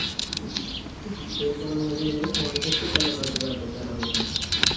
উম সেই সময়ের মতো যদি সময় থাকতো তাহলে হয়তো এত প্যারা হইত না